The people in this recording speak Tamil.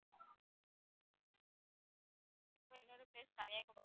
என்னோ place கன்னியாகுமரி ma'am